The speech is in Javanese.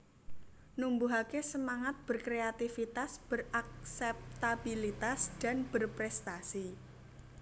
Numbuhake semangat berkreatifitas berakseptabilitas dan berprestasi